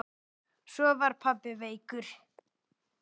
Svo var pabbi veikur.